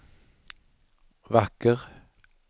vacker